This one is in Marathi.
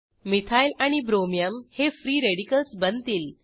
मिथाइल आणि ब्रोमियम हे फ्री रॅडिकल्स बनतील